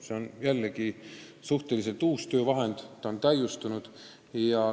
See on suhteliselt uus töövahend, mida kogu aeg täiustatakse.